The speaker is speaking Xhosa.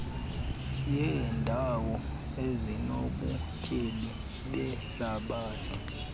yeendawo ezinobutyebi behlabathi